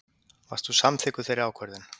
Varst þú samþykkur þeirri ákvörðun?